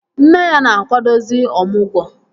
Nne ya na-akwadozi ọmụgwọ